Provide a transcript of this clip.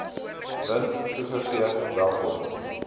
wind toegegee welkom